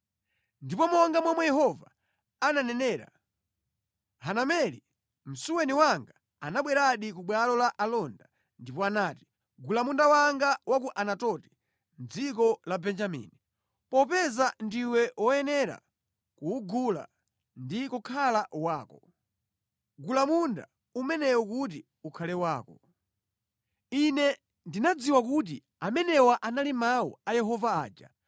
Ndipo monga momwe Yehova ananenera, Hanameli, msuweni wanga anabweradi ku bwalo la alonda ndipo anati, “Gula munda wanga wa ku Anatoti mʼdziko la Benjamini. Popeza ndiwe woyenera kuwugula ndi kukhala wako, gula munda umenewu kuti ukhale wako.” “Ine ndinadziwa kuti amenewa anali mawu a Yehova aja;